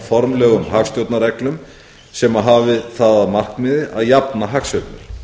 formlegum hagstjórnarreglum sem hafi það að markmiði að jafna hagsveiflur nú hlýtur sú spurning að